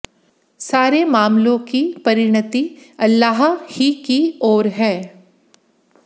सारे मामलों की परिणति अल्लाह ही की ओर है